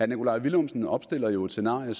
nikolaj villumsen opstiller jo et scenarie